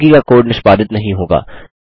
बाकी का कोड निष्पादित नहीं होगा